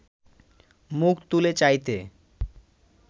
মুখ তুলে চাইতে